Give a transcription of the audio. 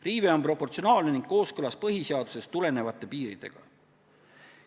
Riive on proportsionaalne ning kooskõlas põhiseadusest tulenevate piiridega.